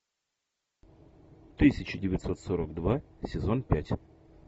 тысяча девятьсот сорок два сезон пять